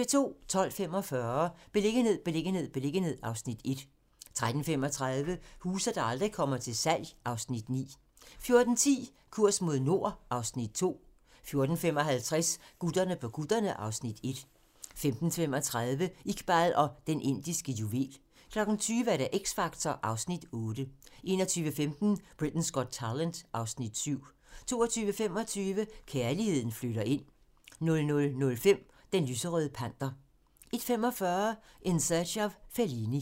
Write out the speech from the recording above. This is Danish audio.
12:45: Beliggenhed, beliggenhed, beliggenhed (Afs. 1) 13:35: Huse, der aldrig kommer til salg (Afs. 9) 14:10: Kurs mod nord (Afs. 2) 14:55: Gutterne på kutterne (Afs. 1) 15:35: Iqbal og Den Indiske Juvel 20:00: X Factor (Afs. 8) 21:15: Britain's Got Talent (Afs. 7) 22:25: Kærligheden flytter ind 00:05: Den lyserøde panter 01:45: In Search of Fellini